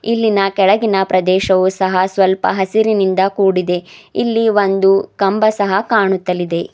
ಇಲ್ಲಿನ ಕೆಳಗಿನ ಪ್ರದೇಶವು ಸಹ ಸ್ವಲ್ಪ ಹಸಿರಿನಿಂದ ಕೂಡಿದೆ ಇಲ್ಲಿ ಒಂದು ಕಂಬ ಸಹ ಕಾಣುತ್ತಲಿದೆ.